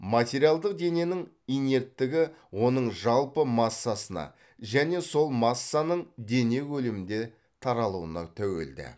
материалдық дененің инерттігі оның жалпы массасына және сол массаның дене көлемінде таралуына тәуелді